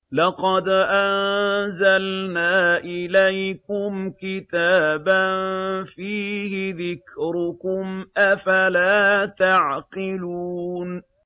لَقَدْ أَنزَلْنَا إِلَيْكُمْ كِتَابًا فِيهِ ذِكْرُكُمْ ۖ أَفَلَا تَعْقِلُونَ